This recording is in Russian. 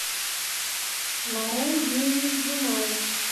марем юрьевич жумаев